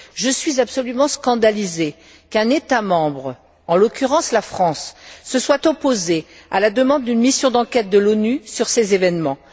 Je suis absolument scandalisée qu'un État membre, en l'occurrence la France, se soit opposé à la demande d'une mission d'enquête de l'ONU sur ces événements.